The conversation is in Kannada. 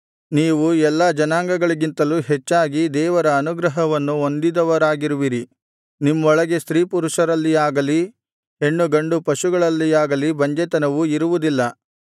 ನೀವು ಎಲ್ಲಾ ಜನಗಳಿಗಿಂತಲೂ ಹೆಚ್ಚಾಗಿ ದೇವರ ಅನುಗ್ರಹವನ್ನು ಹೊಂದಿದವರಾಗಿರುವಿರಿ ನಿಮ್ಮೊಳಗೆ ಸ್ತ್ರೀಪುರುಷರಲ್ಲಿಯಾಗಲಿ ಹೆಣ್ಣುಗಂಡು ಪಶುಗಳಲ್ಲಿಯಾಗಲಿ ಬಂಜೆತನವು ಇರುವುದಿಲ್ಲ